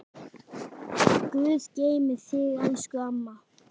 Guð geymi þig elsku amma.